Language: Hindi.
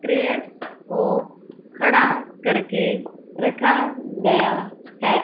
को खड़ा करके रखा गया है।